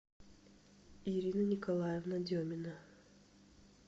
ирина николаевна демина